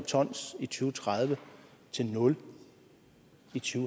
tredive til nul i to